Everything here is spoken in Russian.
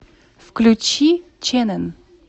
включи чэнэн